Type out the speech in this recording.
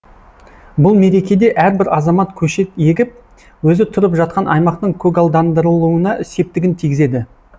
бұл мерекеде әрбір азамат көшет егіп өзі тұрып жатқан аймақтың көгалдандырылуына септігін тигізеді